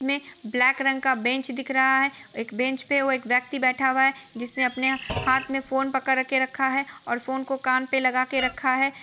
--में ब्लैक रंग का बेंच दिख रहा है एक बेंच पर एक व्यक्ति बैठा हुआ है जिसने अपने हाथ में फोन पकड़ के रखा है और फोन को कान पर लगा कर रखा है।